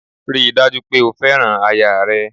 Ríi dájú pè o fẹ́ràn aya rẹ